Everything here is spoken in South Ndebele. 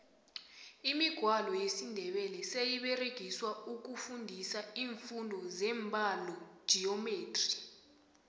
imigwalo yesindebele seyiberegiswa ukufundisa imfundo zembalogeometry